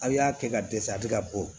Aw y'a kɛ ka dɛsɛ a bɛ ka bɔ